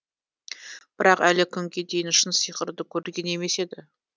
бірақ әлі күнге дейін шын сиқырды көрген емес еді